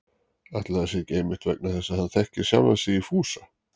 Ætli það sé ekki einmitt vegna þess að hann þekkir sjálfan sig í Fúsa